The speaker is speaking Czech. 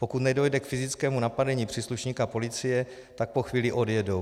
Pokud nedojde k fyzickému napadení příslušníka policie, tak po chvíli odjedou.